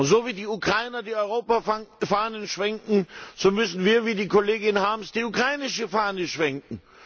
So, wie die Ukrainer die Europafahnen schwenken, so müssen wir wie die Kollegin Harms die ukrainische Fahne schwenken.